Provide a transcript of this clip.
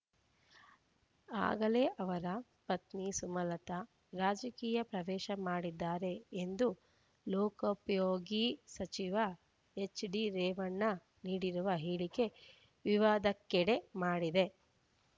ಆಗಲೇ ಅವರ ಪತ್ನಿ ಸುಮಲತಾ ರಾಜಕೀಯ ಪ್ರವೇಶ ಮಾಡಿದ್ದಾರೆ ಎಂದು ಲೋಕೋಪಯೋಗಿ ಸಚಿವ ಹೆಚ್ಡಿ ರೇವಣ್ಣ ನೀಡಿರುವ ಹೇಳಿಕೆ ವಿವಾದಕ್ಕೆಡೆ ಮಾಡಿದೆ